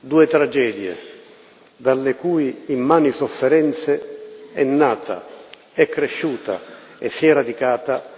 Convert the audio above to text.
Due tragedie dalle cui immani sofferenze è nata, è cresciuta e si è radicata